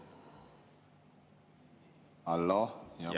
Halloo!